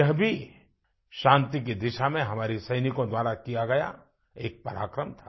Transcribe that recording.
यह भी शांति की दिशा में हमारे सैनिकों द्वारा किया गया एक पराक्रम था